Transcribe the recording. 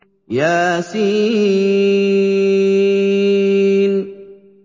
يس